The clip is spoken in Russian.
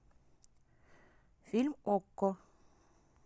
фильм окко